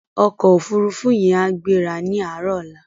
Òkò ófúrúfú yèn á gbérá ni àárò òlá